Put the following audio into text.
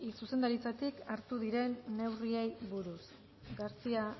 zuzendaritzatik hartuko diren neurriei buruz garcía